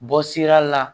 Bɔ sira la